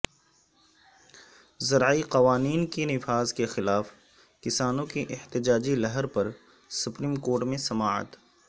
زرعی قوانین کے نفاذ کیخلاف کسانوں کی احتجاجی لہر پر سپریم کورٹ میںسماعت